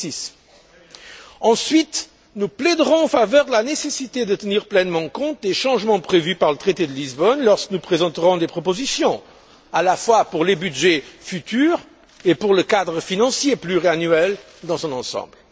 2006. Ensuite, nous plaiderons en faveur de la nécessité de tenir pleinement compte des changements prévus par le traité de Lisbonne lorsque nous présenterons des propositions, à la fois pour les budgets futurs et pour le cadre financier pluriannuel dans son ensemble.